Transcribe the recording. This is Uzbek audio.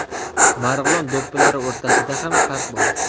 Marg‘ilon do‘ppilari o‘rtasida ham farq bor.